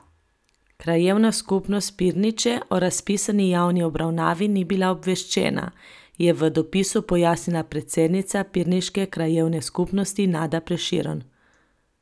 Krajevna skupnost Pirniče o razpisani javni obravnavi ni bila obveščena, je v dopisu pojasnila predsednica pirniške krajevne skupnosti Nada Prešeren.